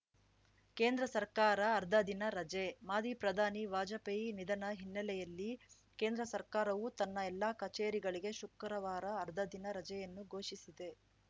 ಕೇಂದ್ರ ಸರ್ಕಾರ ಅರ್ಧ ದಿನ ರಜೆ ಮಾಜಿ ಪ್ರಧಾನಿ ವಾಜಪೇಯಿ ನಿಧನ ಹಿನ್ನೆಲೆಯಲ್ಲಿ ಕೇಂದ್ರ ಸರ್ಕಾರವು ತನ್ನ ಎಲ್ಲಾ ಕಚೇರಿಗಳಿಗೆ ಶುಕ್ರವಾರ ಅರ್ಧದಿನ ರಜೆಯನ್ನು ಘೋಷಿಸಿದೆ